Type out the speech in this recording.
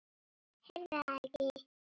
Heyrði það ekki.